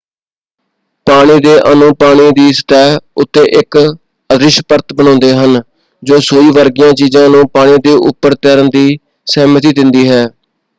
ਪਾਣੀ ਦੇ ਅਣੂ ਪਾਣੀ ਦੀ ਸਤਹਿ ਉੱਤੇ ਇਕ ਅਦ੍ਰਿਸ਼ ਪਰਤ ਬਣਾਉਂਦੇ ਹਨ ਜੋ ਸੂਈ ਵਰਗੀਆਂ ਚੀਜ਼ਾਂ ਨੂੰ ਪਾਣੀ ਦੇ ਉਪਰ ਤੈਰਨ ਦੀ ਸਹਿਮਤੀ ਦਿੰਦੀ ਹੈ।